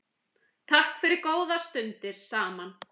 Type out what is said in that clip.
Takk fyrir góðar stundir saman.